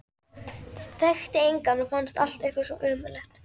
Þekkti engan og fannst allt eitthvað svo ömurlegt.